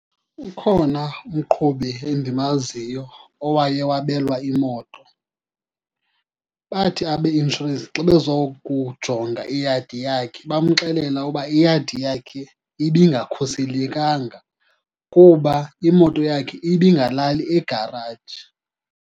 Ukhona umqhubi endimaziyo owaye wabelwa imoto. Bathi abeinshorensi xa bezokujonga iyadi yakhe bamxelele uba iyadi yakhe ibingakhuselekanga kuba imoto yakhe ibingalali egaraji.